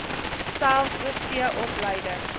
selfs oorsee opleiding